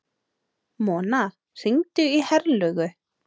Mona, hringdu í Herlaugu.